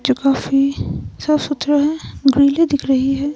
जो काफी सब सूत्रह ब्रेली दिख रही है।